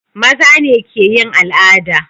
mazane keyin al'ada